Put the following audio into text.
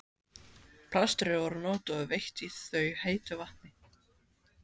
Plaströr voru notuð og veitt í þau heitu vatni.